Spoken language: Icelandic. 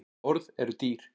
Orð eru dýr